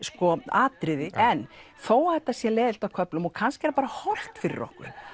atriði en þó að þetta sé leiðinlegt á köflum og kannski er bara hollt fyrir okkur